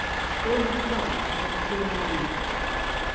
Hólmar frá í hálfan þriðja mánuð